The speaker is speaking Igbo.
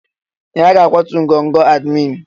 Ee! A ga-akwatu ngọngọ admin.